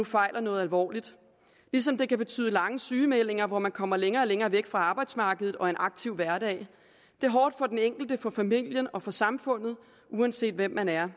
fejler noget alvorligt ligesom det kan betyde lange sygemeldinger hvor man kommer længere og længere væk fra arbejdsmarkedet og en aktiv hverdag det er hårdt for den enkelte for familien og for samfundet uanset hvem man er